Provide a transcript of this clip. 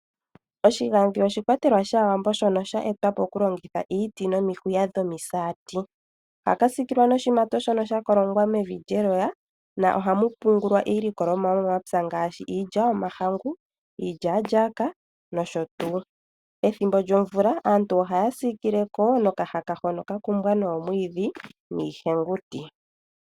Oshigadhi oshi kwatelwa shaawambo sho sha etwa po oku longitha iiti no miti dhi saati. Ohaka siikilwa no shi mato shono sha kolongwa mevi lye loya, no hamu pungulwa iilikolomwa yo mo mapya ngaashi iiilya yo mahangu, iilyalyaka nosho tuu. Ethimbo lyo mvula aantu ohaya siikile ko no ka haka hono ka kumbwa noo mwiidhi nii henguti.